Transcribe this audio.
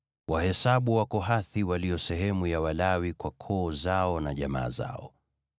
“Wahesabu Wakohathi walio sehemu ya Walawi kwa koo zao na jamaa zao.